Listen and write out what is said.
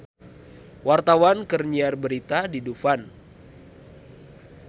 Wartawan keur nyiar berita di Dufan